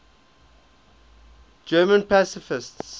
german pacifists